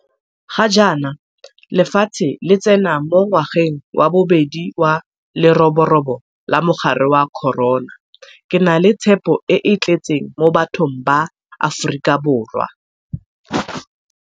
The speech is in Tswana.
Ga jaana lefatshe le tsena mo ngwageng wa bobedi wa leroborobo la mogare wa corona. Ke na le tshepo e e tletseng mo bathong ba Aforika Borwa.